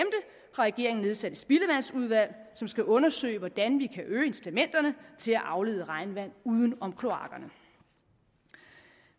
regeringen nedsat et spildevandsudvalg som skal undersøge hvordan vi kan øge incitamenterne til at aflede regnvand uden om kloakkerne